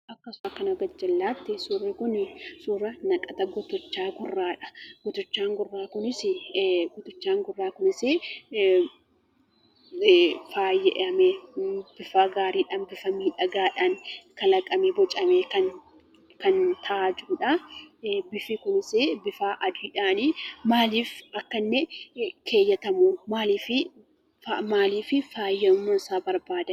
Akka suura kana garjallaatti, suurri kun suura naqata kutichaa gurraadha. Kutichaan gurraa kunis faayamee bifa gaariidhaan bifa bareedaadhaan kalaqamee bocamee kan taa'aa jirudha. Bifni kunis bifa adiidhaan akka inni keewwatamu, maaliif faayamuun isaa barbaadamee?